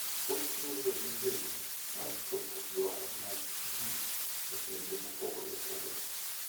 Ochiwo yo migeno mar chopo dwaro mag ji e pinje mopogore opogore.